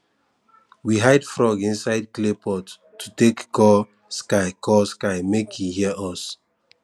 we hide frog inside clay pot to take call sky call sky make e hear us